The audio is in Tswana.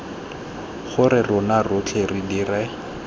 gore rona rotlhe re dire